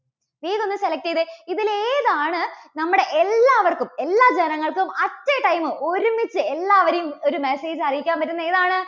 വേഗം ഒന്ന് select ചെയ്തേ. ഇതിൽ ഏതാണ് നമ്മുടെ എല്ലാവർക്കും എല്ലാ ജനങ്ങൾക്കും at a time ഒരുമിച്ച് എല്ലാവരേയും ഒരു message അയയ്ക്കാൻ പറ്റുന്നത് ഏതാണ്?